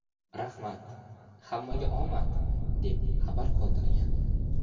Rahmat, hammaga omad!” deb xabar qoldirgan .